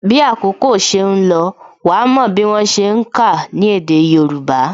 Bí àkókò ṣe ń lọ, wa mò bí wọ́n ṣe ń ka ní èdè Hausa